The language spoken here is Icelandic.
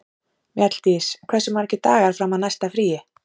Mjalldís, hversu margir dagar fram að næsta fríi?